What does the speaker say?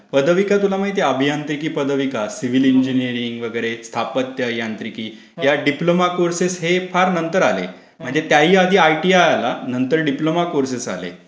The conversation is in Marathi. पदविका तुला माहीत आहे? अभियांत्रिकी पदविका, सिविल इंजिनीअरिंग, वगैरे, स्थापत्य यांत्रिकि, या डिप्लोमा कोर्सेस हे नंतर आले. म्हणजे त्याही आधी आयटीआय आलं. नंतर डिप्लोमा कोर्सेस आले.